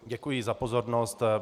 Děkuji za pozornost.